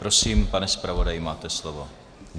Prosím, pane zpravodaji, máte slovo.